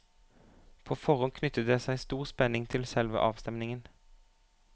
På forhånd knyttet det seg stor spenning til selve avstemningen.